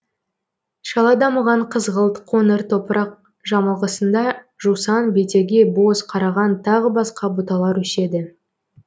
шала дамыған қызғылт қоңыр топырақ жамылғысында жусан бетеге боз қараған тағы басқа бұталар өседі